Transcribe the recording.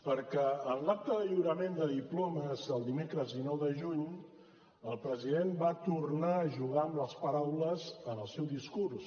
perquè en l’acte de lliurament de diplomes el dimecres dinou de juny el president va tornar a jugar amb les paraules en el seu discurs